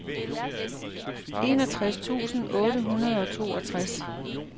enogtres tusind otte hundrede og toogtres